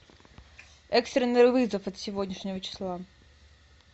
экстренный вызов от сегодняшнего числа